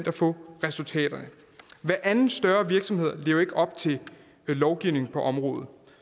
at få resultaterne hver anden større virksomhed lever ikke op til lovgivningen på området